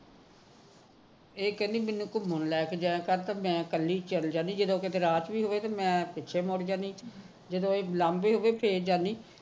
ਇਹ ਕਹਿੰਦੀ ਮੈਨੂੰ ਘੁਮਣ ਲੈ ਕੇ ਜਾਇਆ ਕਰ ਮੈ ਕਿਹਾ ਮੈ ਕਲੀ ਚਲੇ ਜਾਣੀ ਜਦੋ ਕਦੇ ਰਾਤ ਹੁੰਦੀ ਤੇ ਮੈ ਪਿਛੇ ਮੁੜ ਜਾਦੀ ਹਾਂ ਜਦੋ ਇਹ ਬੁਲਾਉਦੇ ਹੁੰਦੇ ਫੇਰ ਜਾਣੀ ਹਾਂ